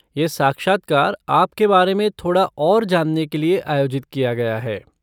यह साक्षात्कार आपके बारे में थोड़ा और जानने के लिए आयोजित किया गया है।